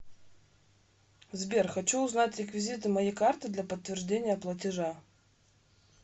сбер хочу узнать реквизиты моей карты для подтверждения платежа